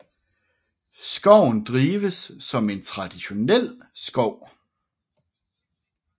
Skoven drives som en traditionel skov